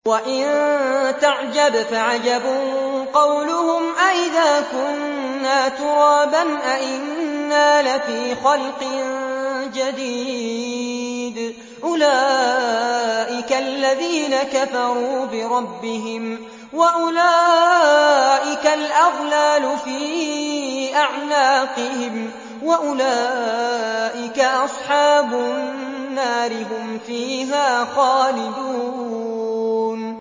۞ وَإِن تَعْجَبْ فَعَجَبٌ قَوْلُهُمْ أَإِذَا كُنَّا تُرَابًا أَإِنَّا لَفِي خَلْقٍ جَدِيدٍ ۗ أُولَٰئِكَ الَّذِينَ كَفَرُوا بِرَبِّهِمْ ۖ وَأُولَٰئِكَ الْأَغْلَالُ فِي أَعْنَاقِهِمْ ۖ وَأُولَٰئِكَ أَصْحَابُ النَّارِ ۖ هُمْ فِيهَا خَالِدُونَ